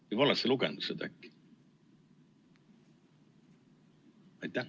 Või oled sa seda lugenud äkki?